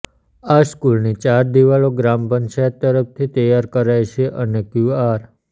આ સ્કૂલની ચાર દિવાલો ગ્રામ પંચાયત તરફથી તૈયાર કરાઈ છે અને ક્યુઆર